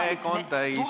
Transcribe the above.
Aeg on juba täis.